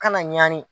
Kana ɲani